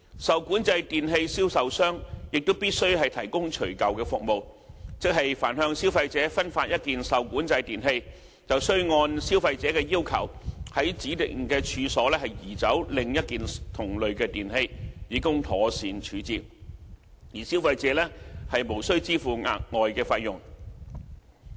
受管制電器銷售商亦必須提供除舊服務，即凡向消費者分發一件受管制電器，須按消費者的要求，從指定的處所移走另一件同類的電器，以供妥善處置，而消費者無須支付額外費用。